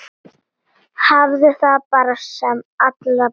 Hafðu það sem allra best.